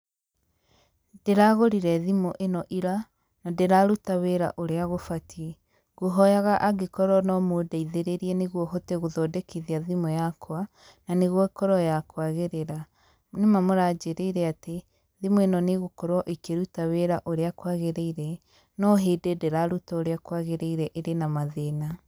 Ndῖragῦrire thimῦ ῖno ira, na ndῖraruta wῖra ũrĩa gũbatie, ngũhoyaga angῖkorwo no mῦndeithῖrῖrie nῖguo hote gῦthondekithia thimῦ yakwa, na nῖguo ῖkorwo ya kwagῖrῖra. Na nῖ ma nῖmῦranjῖrῖire atῖ, thimῦ ῖno nῖ ῖgῦkorwo ῖkῖruta wῖra ῦrῖa kwagῖrῖire, no hῖndῖ ndῖrarῦta ῦrῖa kwagῖrῖire ῖrῖ na mathῖna.